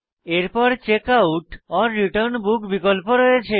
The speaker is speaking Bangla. এরপর checkoutরিটার্ন বুক বিকল্প রয়েছে